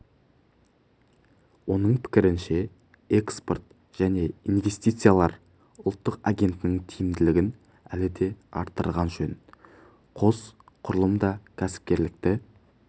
оның пікірінше экспорт және инвестициялар ұлттық агенттігінің тиімділігін әлі де арттырған жөн қос құрылым да кәсіпкерлікті